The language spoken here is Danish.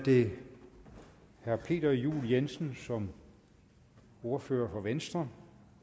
det herre peter juel jensen som ordfører for venstre